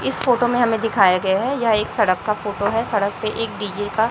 इस फोटो में हमें दिखाया गया है यह एक सड़क का फोटो है सड़क पे एक डी_जे का--